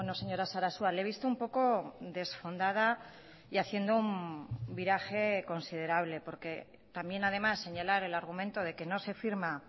señora sarasua le he visto un poco desfondada y haciendo un viraje considerable porque también además señalar el argumento de que no se firma